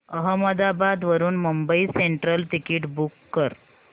अहमदाबाद वरून Mumbai Central ticket book कर